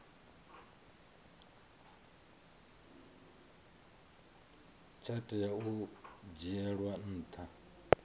tsha tea u dzhielwa nha